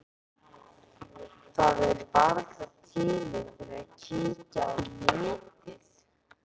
Það er varla tími til að kíkja á netið.